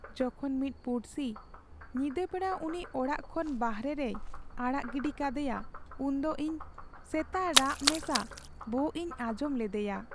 ᱡᱚᱠᱷᱚᱱ ᱢᱤᱫ ᱯᱩᱲᱥᱤ ᱧᱤᱫᱟᱹ ᱵᱮᱲᱟ ᱩᱱᱤ ᱚᱲᱟᱜ ᱠᱷᱚᱱ ᱵᱟᱨᱦᱮᱨᱮᱭ ᱟᱲᱟᱜ ᱜᱤᱰᱤ ᱠᱟᱫᱮᱭᱟ ᱩᱱᱫᱚ ᱤᱧ ᱥᱮᱛᱟ ᱨᱟᱜ ᱢᱮᱥᱟ ᱵᱷᱳᱜ ᱤᱧ ᱟᱸᱡᱚᱢ ᱞᱮᱫᱮᱭᱟ ᱾